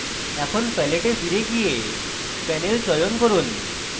এখন palette a ফিরে গিয়ে panel চয়ন করুন